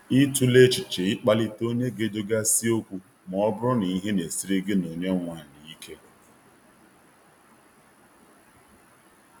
Ị tụla echiche i kpalite onye ga edozi ga si okwu ma ọ bụrụ na ihe na-esiri gị na onye nwe ala ike?